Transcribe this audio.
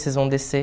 Vocês vão descer.